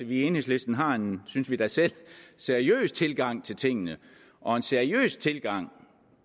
vi i enhedslisten har en synes vi da selv seriøs tilgang til tingene og en seriøs tilgang